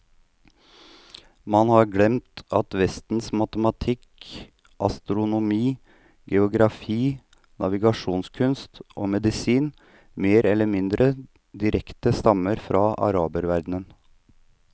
Man har glemt at vestens matematikk, astronomi, geografi, navigasjonskunst og medisin mer eller mindre direkte stammer fra araberverdenen.